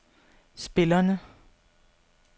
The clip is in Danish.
spillerne